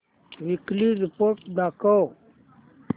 weekly report दाखव